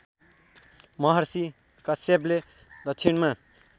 महर्षि कश्यपले दक्षिणमा